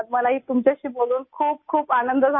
मुझे भी आपसे बात करके बहुत ख़ुशी हुई